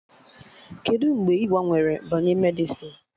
Kedụ mgbe ị gbanwere banye Medịsịn?